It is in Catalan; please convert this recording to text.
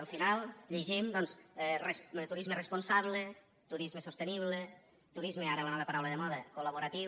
al final llegim doncs turisme responsable turisme sostenible turisme ara la nova paraula de moda col·laboratiu